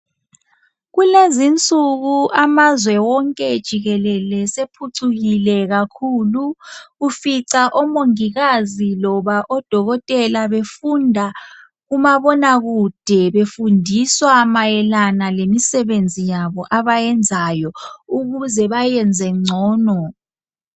Kulezi insiku amazwe onke jikelele asephucukile kakhulu ufica omongikazi koba odokotela befunda kumabona kude befundiswa mayelana lemisebenzi yabo abayenzayo ukuze bayenze ngcono